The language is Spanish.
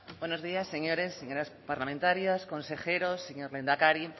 buenos días señores señoras parlamentarias consejeros señor lehendakari